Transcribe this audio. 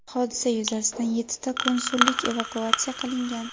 Hodisa yuzasidan yettita konsullik evakuatsiya qilingan.